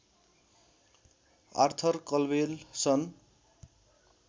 Arthur Calwell सन्